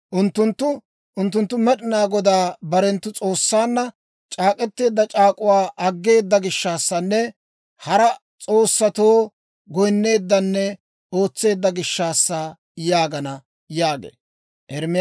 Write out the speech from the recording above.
Unttunttu, ‹Unttunttu Med'inaa Godaa barenttu S'oossaanna c'aak'k'eteedda c'aak'uwaa aggeeda gishshaassanne hara s'oossatoo goyinneeddanne ootseedda gishshaassa› yaagana» yaagee.